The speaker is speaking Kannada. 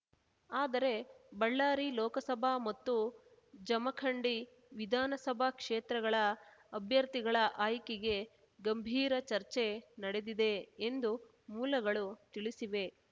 ಆದರೆ ಬಳ್ಳಾರಿ ಲೋಕಸಭಾ ಮತ್ತು ಜಮಖಂಡಿ ವಿಧಾನಸಭಾ ಕ್ಷೇತ್ರಗಳ ಅಭ್ಯರ್ಥಿಗಳ ಆಯ್ಕೆಗೆ ಗಂಭೀರ ಚರ್ಚೆ ನಡೆದಿದೆ ಎಂದು ಮೂಲಗಳು ತಿಳಿಸಿವೆ